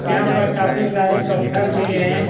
यहां पर काफी सारे पत्थर भी हैं।